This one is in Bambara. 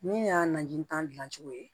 Min y'a naji tan cogo ye